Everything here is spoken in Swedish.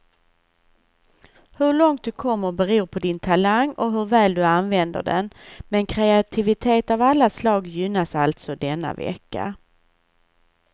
Hur långt du kommer beror på din talang och hur väl du använder den, men kreativitet av alla slag gynnas alltså denna vecka.